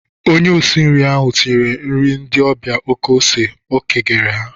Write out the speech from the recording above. Onye osi nri ahụ tinyere nri ndị ọbịa oké ose o kigere ha.